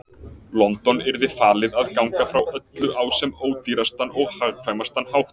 London yrði falið að ganga frá öllu á sem ódýrastan og hagkvæmastan hátt.